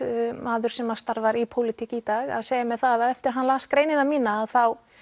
maður sem að starfar í pólitík í dag að segja mér það að eftir að hann las greinina mína að þá